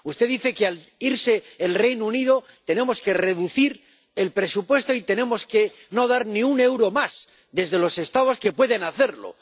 Usted dice que, al irse el Reino Unido, tenemos que reducir el presupuesto y no tenemos dar ni un euro más desde los Estados que pueden hacerlo.